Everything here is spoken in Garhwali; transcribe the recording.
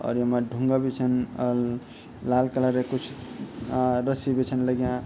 अर यमा ढुंगा बि छन अर लाल कलर क कुछ आ रस्सी बि छन लग्यां।